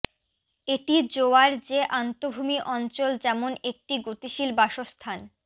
এটি জোয়ার যে আন্তঃভূমি অঞ্চল যেমন একটি গতিশীল বাসস্থান